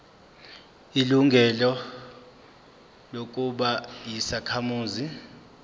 ilungelo lokuba yisakhamuzi